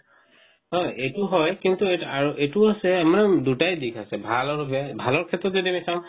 হয় এটো হয় কিন্তু আৰু এটো আছে মানে দুটায় দিশ আছে ভাল আৰু বেয়া ভালৰ ক্ষেত্ৰত যদি আমি চাও